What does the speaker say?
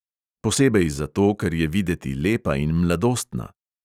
Posebej zato, ker je videti lepa in mladostna.